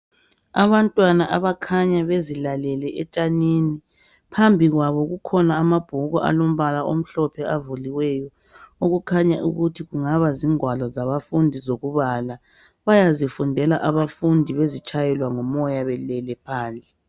Abantwana abakhanya bezilalele etshanini phambi kwabo kulamabhuku alombala omhlophe avuliweyo okukhanya ukuthi kungaba zingwalo zabafundi zokubala bayazifundela abafundi bezitshayelwa ngumoya belele phandle.